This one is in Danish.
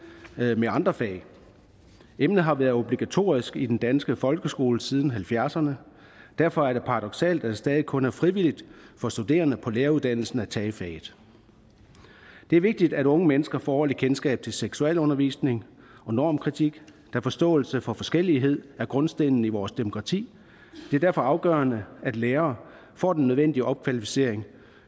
med andre fag emnet har været obligatorisk i den danske folkeskole siden nitten halvfjerdserne derfor er det paradoksalt at det stadig kun er frivilligt for studerende på læreruddannelsen at tage faget det er vigtigt at unge mennesker får ordentlig kendskab til seksualundervisning og normkritik da forståelse af forskellighed er grundstenen i vores demokrati det er derfor afgørende at lærere får den nødvendige opkvalificering